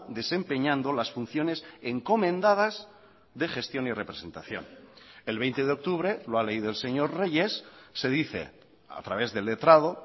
desempeñando las funciones encomendadas de gestión y representación el veinte de octubre lo ha leído el señor reyes se dice a través del letrado